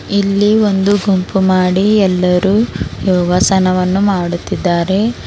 ಈ ಒಂದು ಗುಂಪು ಮಾಡಿ ಎಲ್ಲರೂ ಯೋಗಾಸನವನ್ನ ಮಾಡುತ್ತಿದ್ದಾರೆ.